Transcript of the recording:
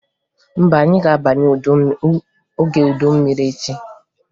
Mba, anyị ga-abanye oge udu mmiri echi